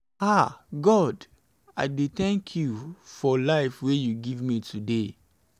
ah god i dey thank you for life wey you give me today.